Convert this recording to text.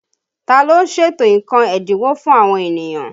Ta ló ń ṣètò nǹkan ẹ́dínwó fún àwọn ènìyàn?